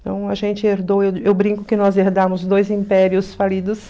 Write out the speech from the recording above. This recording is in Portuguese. Então, a gente herdou, eu eu brinco que nós herdamos dois impérios falidos.